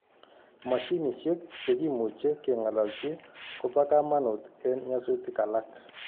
Mashinishek chegimuche keng'alalji koba kamanut en nyasutik alak